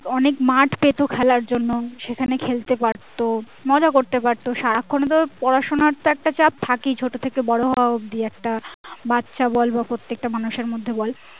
অনেক মাঠ পেতো খেলার জন্য সেখানে খেলতে পারতো মজা করতে পারতো সারাক্ষন তো পড়াশোনার তো একটা চাপ থাকেই ছোট থেকে বড়ো হওয়া অবধি একটা বাচ্চা বল বা প্রত্যেকটা মানুষের মধ্যে বল